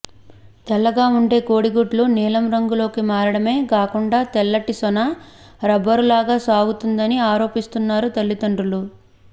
తెల్లగా ఉండే కోడిగుడ్లు నీలం రంగులోకి మారడమే గాకుండా తెల్లటి సొన రబ్బరులాగా సాగిందని ఆరోపిస్తున్నారు తల్లిదండ్రులు